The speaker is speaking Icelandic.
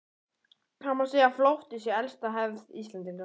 Það má segja að flótti sé elsta hefð Íslendinga.